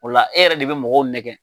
O e yɛrɛ de bɛ mɔgɔw nɛgɛ.